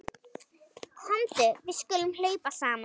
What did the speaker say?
Komdu við skulum hlaupa saman.